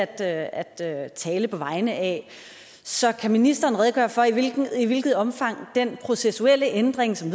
at at tale på vegne af så kan ministeren redegøre for i hvilket i hvilket omfang den processuelle ændring som